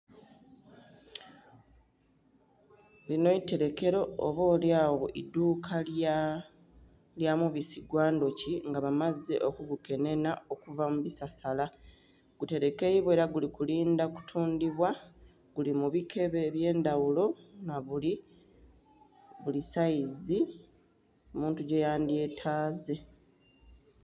Linho itelekero oba olyagho idhuuka lya omubisi gwa endhuki nga bamaze oku gukenhenha okuva mu bisasala, guterekeibwa era guli kulindha kutundhibwa. Guli mu bikebe ebye ndhaghulo nga guli mu bili saizi omuntu gye ya ndhyetaze.